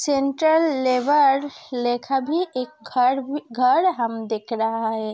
Central level लेखा भी एक घर घर हम देख रहा है।